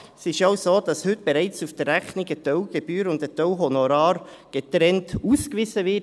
Es ist ja auch so, dass heute bereits auf der Rechnung ein Teil Gebühren und ein Teil Honorar getrennt ausgewiesen werden.